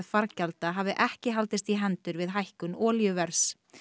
fargjalda hafi ekki haldist í hendur við hækkun olíuverðs